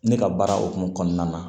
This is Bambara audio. Ne ka baara hukumu kɔnɔna na